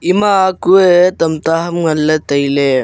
ima kue tamta ham nganle taile.